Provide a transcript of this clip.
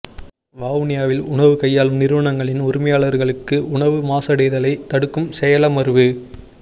வவுனியாவில் உணவு கையாளும் நிறுவனங்களின் உரிமையாளர்களுக்கு உணவு மாசடைதலை தடுக்கும் செயலமர்வு